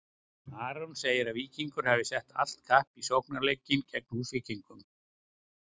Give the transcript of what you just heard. Aron segir að Víkingar hafi sett allt kapp á sóknarleikinn gegn Húsvíkingum.